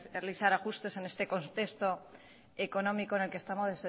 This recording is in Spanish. realizar ajustes en este contexto económico en el que estamos